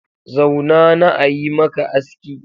Zauna na ayi maka aski.